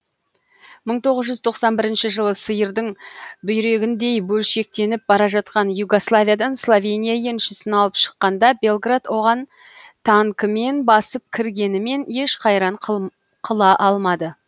мың тоғыз жүз тоқсан бірінші жылы сиырдың бүйрегіндей бөлшектеніп бара жатқан югославиядан словения еншісін алып шыққанда белград оған танкімен басып кіргенімен еш қайран қыла алмады